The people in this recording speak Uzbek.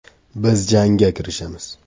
Biz jangga kirishamiz.